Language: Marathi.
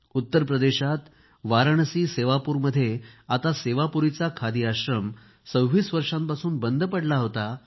उत्तर प्रदेशात वाराणसी सेवापूरमध्ये आता सेवापुरीचा खादी आश्रम 26 वर्षांपासून बंद पडला होता